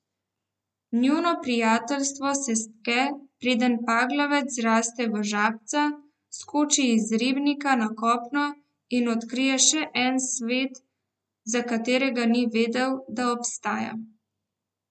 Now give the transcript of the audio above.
Njuno prijateljstvo se stke, preden paglavec zraste v žabca, skoči iz ribnika na kopno in odkrije še en svet, za katerega ni vedel, da obstaja.